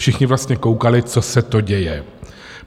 Všichni vlastně koukali, co se to děje.